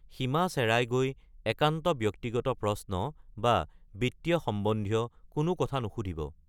সীমা চেৰাই গৈ একান্ত ব্যক্তিগত প্ৰশ্ন বা বিত্তীয় সম্বন্ধীয় কোনো কথা নুসুধিব।